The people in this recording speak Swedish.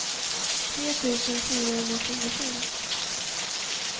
tre tusen fyrahundratjugosju